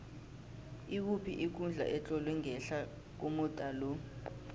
ikuphi ikundla etlolwe ngehla komuda lo